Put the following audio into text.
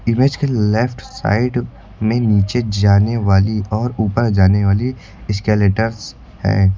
Image के left side में नीचे जाने वाली और ऊपर जाने वाली एस्केलेटर्स है।